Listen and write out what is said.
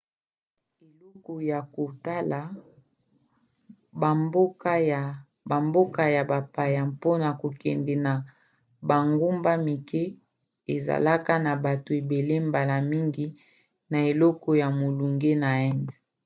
eleko ya kotala bamboka ya bapaya mpona kokende na bangumba mike ezalaka na bato ebele mbala mingi na eleko ya molunge na inde